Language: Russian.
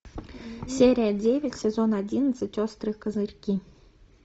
серия девять сезон одиннадцать острые козырьки